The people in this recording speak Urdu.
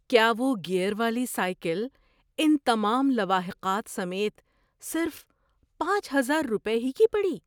کیا وہ گیئر والی سائیکل ان تمام لواحقات سمیت صرف پانچ ہزار روپے ہی کی پڑی؟